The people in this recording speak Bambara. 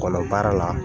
Kɔnɔ baara la